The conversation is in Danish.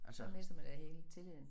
Så mister man da hele tilliden